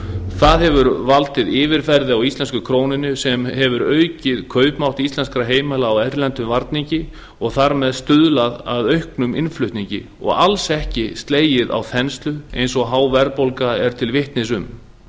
það hefur valdið yfirverði á íslensku krónunni sem hefur aukið kaupmátt íslenskra heimila á erlendum varningi og þar með stuðlað að auknum innflutningi og alls ekki slegið á þenslu eins og há verðbólga er til vitnis um